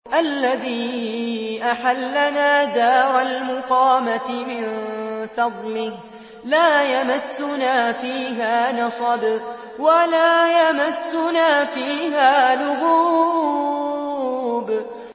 الَّذِي أَحَلَّنَا دَارَ الْمُقَامَةِ مِن فَضْلِهِ لَا يَمَسُّنَا فِيهَا نَصَبٌ وَلَا يَمَسُّنَا فِيهَا لُغُوبٌ